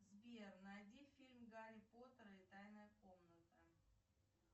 сбер найди фильм гарри поттер и тайная комната